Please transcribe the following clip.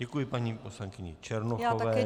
Děkuji paní poslankyni Černochové.